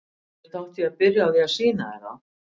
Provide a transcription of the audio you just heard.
Auðvitað átti ég að byrja á því að sýna þér þá.